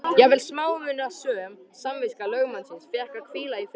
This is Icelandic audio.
Jafnvel smámunasöm samviska lögmannsins fékk að hvíla í friði.